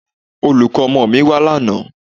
Olùkọ́ ọmọ mi wá lánàá